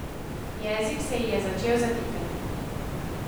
Jezik se ji je začel zatikati.